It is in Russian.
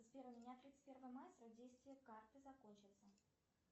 сбер у меня тридцать первого мая срок действия карты закончится